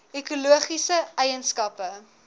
ekologiese eien skappe